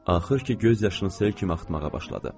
Axır ki, göz yaşını sel kimi axıtmağa başladı.